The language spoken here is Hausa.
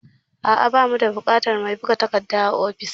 A'a, ba mu da buƙatar mai buga takarda a ofis